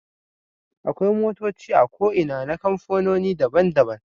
Akwai motoci a ko Ina na kamfanoni daban daban